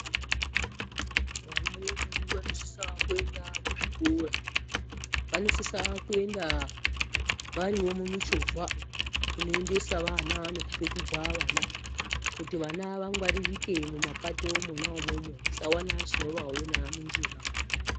Vana vedu vanosisa kuenda kuzvikora vanosisa kuenda varimo mumuchovha inoendesa vana nekupetudza vana kuti vana vawanikwe mumapato Mona imomo musaona chinovaona munjira.